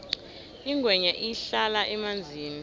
ingwenya ihlala emanzini